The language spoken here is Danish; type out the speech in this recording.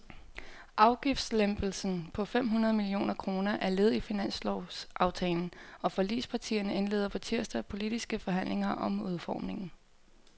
Afgiftslempelsen på fem hundrede millioner kroner er led i finanslovsaftalen, og forligspartierne indleder på tirsdag politiske forhandlinger om udformningen.